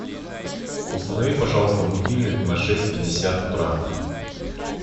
установи пожалуйста будильник на шесть пятьдесят утра